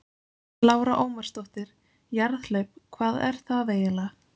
Lára Ómarsdóttir: Jarðhlaup, hvað er það eiginlega?